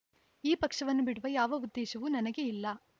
ಈ ಪಕ್ಷವನ್ನು ಬಿಡುವ ಯಾವ ಉದ್ದೇಶವೂ ನನಗೆ ಇಲ್ಲ